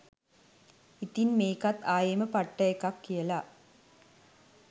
ඉතින් මේකත් ආයෙම පට්ට එකක් කියලා